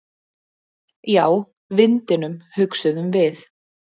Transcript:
Já, vindinum, hugsuðum við.